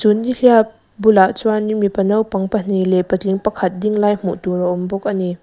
nihliap bulah chuan mipa naupang pahnih leh paling pakhat ding lai hmuh tur a awm bawk ani.